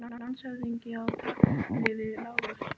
Landshöfðingi á tali við Lárus.